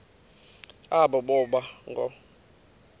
aba boba ngoo